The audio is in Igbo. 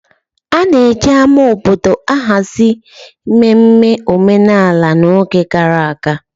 A na-eji ama obodo ahazi mmemme omenala n'oge gara aga.